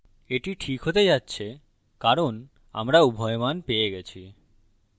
এটি this হতে যাচ্ছে কারণ আমরা উভয় মান পেয়ে গেছি